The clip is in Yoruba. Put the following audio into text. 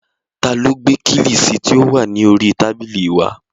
Ta ló gbé kílìṣí tí ó wà ní oríi tábìlì wá?